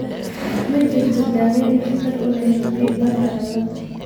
Ma jirto daweyn waxtar u leh Hb Bart ciladha.